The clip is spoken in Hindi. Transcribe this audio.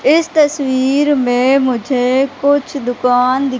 इस तस्वीर में मुझे कुछ दुकान दिख--